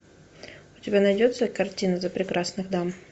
у тебя найдется картина за прекрасных дам